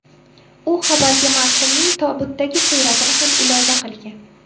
U xabarga marhumning tobutdagi suratini ham ilova qilgan.